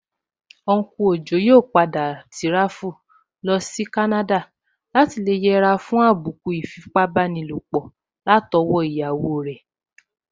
Unku Ojo yóò padà tíráfù lọsí Canada láti lè yẹra fún àbùkù ìfipábánilòpọ̀ látọwọ́ iyawo rẹ̀